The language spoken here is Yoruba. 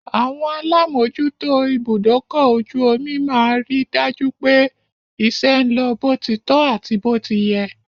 Àwọn lá mòójútó ibùdókọ-ojú-omi máa rí dájú pé iṣẹ́ ń lọ bó ti tọ́ àti bó ti yẹ.